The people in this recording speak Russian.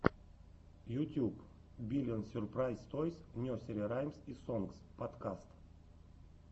ютьюб биллион сюрпрайз тойс несери раймс и сонгс подкаст